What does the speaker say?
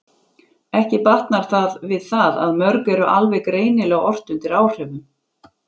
Ekki batnar það við það að mörg eru alveg greinilega ort undir áhrifum.